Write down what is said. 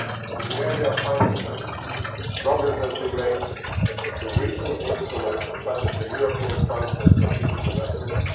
In the area of financing, progress has been made through recent instruments such as the European Fund for Strategic Investments.